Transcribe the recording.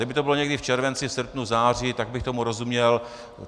Kdyby to bylo někdy v červenci, srpnu, září, tak bych tomu rozuměl.